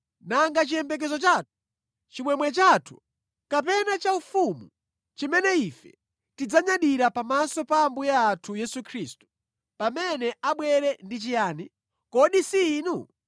Nanga chiyembekezo chathu, chimwemwe chathu kapena chaufumu chimene ife tidzanyadira pamaso pa Ambuye athu Yesu Khristu pamene abwere ndi chiyani? Kodi si inu?